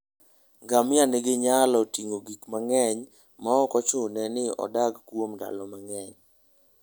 Ngamia nyalo ting'o gik mang'eny maok ochuno ni odag kuom ndalo mang'eny.